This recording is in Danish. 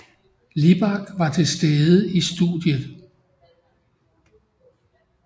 Libak var til stede i studiet